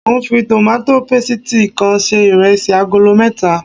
Mo ń fi tòmátò pésìti kan se iresi agolo mẹ́ta